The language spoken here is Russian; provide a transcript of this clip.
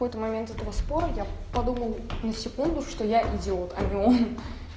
в какой-то момент этого спора я подумал на секунду что я идиот а не он